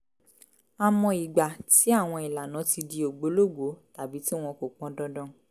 á mọ ìgbà tí àwọn ìlànà ti di ògbólógbòó tàbí tí wọn kò pọn dandan